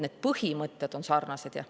Need põhimõtted on sarnased, jah.